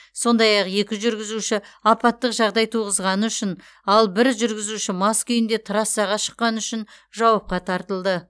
сондай ақ екі жүргізуші апаттық жағдай туғызғаны үшін ал бір жүргізуші мас күйінде трассаға шыққаны үшін жауапқа тартылды